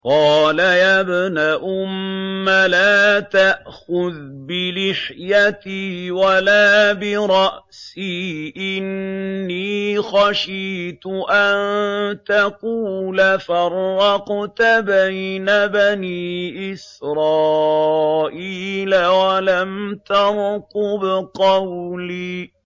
قَالَ يَا ابْنَ أُمَّ لَا تَأْخُذْ بِلِحْيَتِي وَلَا بِرَأْسِي ۖ إِنِّي خَشِيتُ أَن تَقُولَ فَرَّقْتَ بَيْنَ بَنِي إِسْرَائِيلَ وَلَمْ تَرْقُبْ قَوْلِي